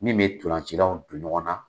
Min bɛ tolancilaw don ɲɔgɔn na.